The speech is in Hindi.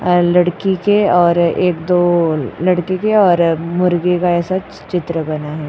और लड़की के और एक दो लड़की के और मुर्गी का ऐसा चित्र बना है।